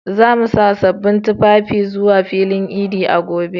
Za mu sa sabbin tufafinmu zuwa filin idi a gobe.